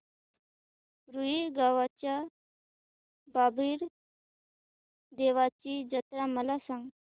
रुई गावच्या बाबीर देवाची जत्रा मला सांग